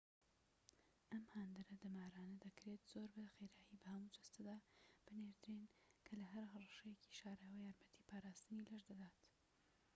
ئەم هاندەرە دەمارانە دەکرێت زۆر بە خێرایی بە هەموو جەستەدا بنێردرێن کە لە هەر هەڕەشەیەکی شاراوە‎ یارمەتی پاراستنی لەش دەدات